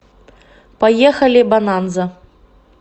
поехали бонанза